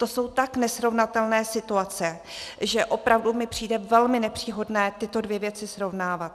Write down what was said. To jsou tak nesrovnatelné situace, že opravdu mi přijde velmi nepříhodné tyto dvě věci srovnávat.